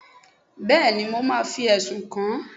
bẹẹni mo ma fí esún kán